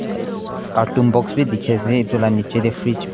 carton box bhi dikhi ase etu lah nicche teh freeze--